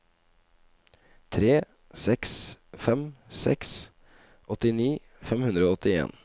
tre seks fem seks åttini fem hundre og åttien